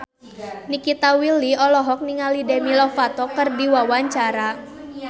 Nikita Willy olohok ningali Demi Lovato keur diwawancara